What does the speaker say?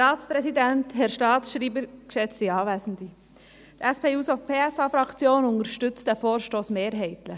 Die SP-JUSO-PSA-Fraktion unterstützt diesen Vorstoss mehrheitlich.